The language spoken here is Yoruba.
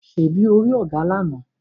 Ṣebí o rí ògà lána?